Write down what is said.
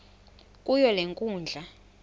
kuyo le nkundla